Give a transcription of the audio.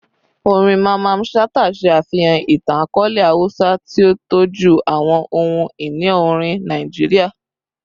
Orin Mamman Shata ṣe afihan itan-akọọlẹ Hausa, ti o tọju awọn ohun-ini orin Naijiria